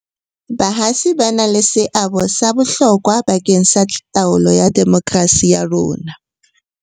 hatsi ba na le seabo sa bohlokwa ba keng sa taolo ya demokrasi ya rona.